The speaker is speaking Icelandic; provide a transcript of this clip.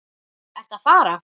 Ertu að fara?